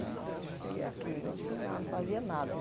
Né cheguei aqui, não tinha nada, não fazia nada né.